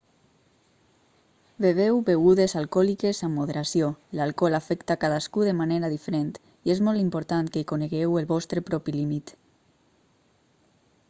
beveu begudes alcohòliques amb moderació l'alcohol afecta cadascú de manera diferent i és molt important que conegueu el vostre propi límit